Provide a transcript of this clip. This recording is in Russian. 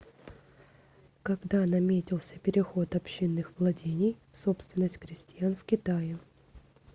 когда наметился переход общинных владений в собственность крестьян в китае